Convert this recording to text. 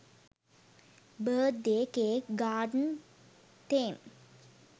birthday cake garden theme